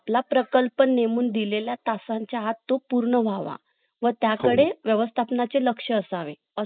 पण आपला प्रकल्प अँड नेमून दिले ला तासांच्या आत तो पूर्ण व्हावा व त्याकडे व्यवस्थापना चे लक्ष असावे